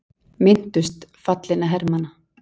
Minntust fallinna hermanna